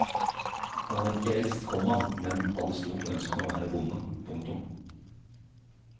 Han var ikke eldst, komma men hadde stort ønske om å være bonde. punktum